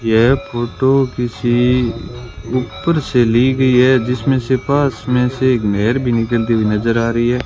यह फोटो किसी ऊपर से ली गई है जिसमें से पास में से एक नहर भी निकलती हुई नजर आ रही है।